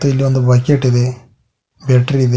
ಇಲ್ಲಿ ಒಂದು ಬಕೆಟ್ ಇದೆ ಬ್ಯಾಟರಿ ಇದೆ.